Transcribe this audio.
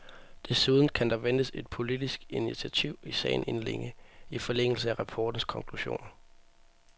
Desuden kan der ventes et politisk initiativ i sagen inden længe, i forlængelse af rapportens konklusioner.